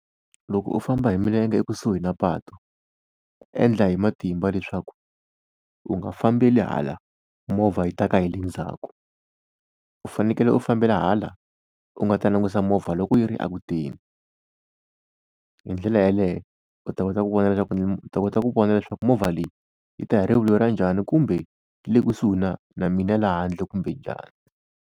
Loko u famba hi milenge ekusuhi na patu, endla hi matimba leswaku u nga fambeli hala movha yi ta ka hi le ndzhaku. U fanekele u fambela hala u nga ta langusa movha loko yi ri a ku teni. Hi ndlela yaleyo u ta kota ku vona leswaku u ta kota ku vona leswaku movha leyi yi ta hi rivilo ra njhani, kumbe yi le kusuhi na na mina laha handle kumbe njhani.